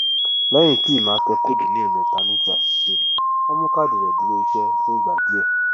lẹyìn tí emma tẹ kóòdù ní ẹẹmẹta ní ti àṣìṣe wọn mú káádì rẹ dúró iṣẹ fún ìgbà díẹ